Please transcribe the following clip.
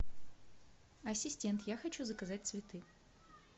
ассистент я хочу заказать цветы